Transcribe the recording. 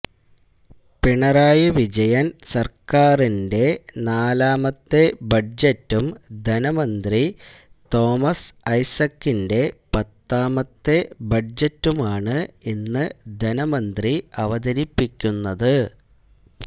പിണറായി വിജയൻ സർക്കാരിന്റെ നാലാമത്തെ ബഡ്ജറ്റും ധനമന്ത്രി തോമസ് ഐസക്കിന്റെ പത്താമത്തെ ബഡ്ജറ്റുമാണ് ഇന്ന് ധനമന്ത്രി അവതരിപ്പിക്കുന്നത്